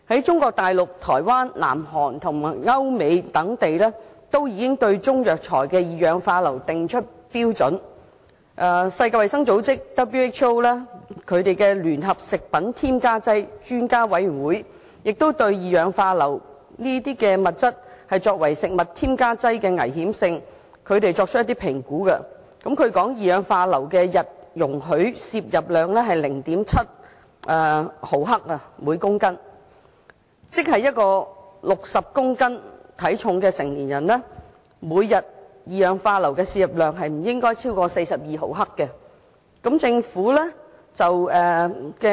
中國內地、台灣、南韓及歐美等地均已就中藥材的二氧化硫含量訂定標準，世界衞生組織聯合食品添加劑專家委員會亦已對二氧化硫作為食物添加劑的危險性作出評估，釐定二氧化硫的每天容許攝入量為每公斤 0.7 毫克，即一名體重為60公斤的成年人每天攝入二氧化硫的分量不應超過42毫克。